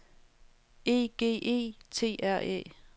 E G E T R Æ